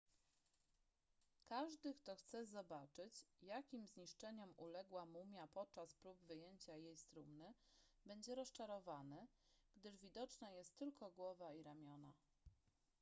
każdy kto chce zobaczyć jakim zniszczeniom uległa mumia podczas prób wyjęcia jej z trumny będzie rozczarowany gdyż widoczna jest tylko głowa i ramiona